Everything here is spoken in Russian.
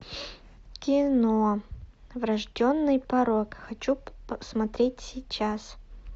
кино врожденный порок хочу посмотреть сейчас